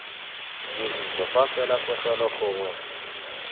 dirisiwa fa fela pegelo gongwe